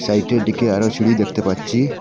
সাইটের দিকে আরও সিঁড়ি দেখতে পাচ্ছি।